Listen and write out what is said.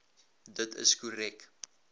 dit is korrek